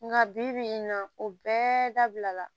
Nka bibi in na o bɛɛ dabila la